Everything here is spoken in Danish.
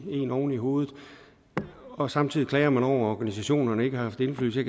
oven i hovedet og samtidig klager man over at organisationerne ikke har haft indflydelse